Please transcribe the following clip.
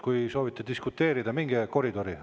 Kui soovite diskuteerida, minge koridori.